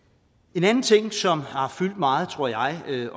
en anden ting som har fyldt meget tror jeg